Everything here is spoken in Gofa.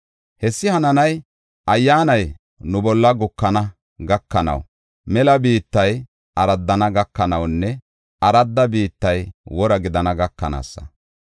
Hessi hananay, Ayyaanay nu bolla gukana gakanaw, mela biittay araddana gakanawunne aradda biittay wora gidana gakanaasa.